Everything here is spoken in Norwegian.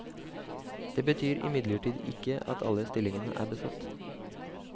Det betyr imidlertid ikke at alle stillingene er besatt.